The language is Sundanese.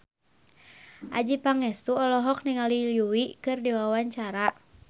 Adjie Pangestu olohok ningali Yui keur diwawancara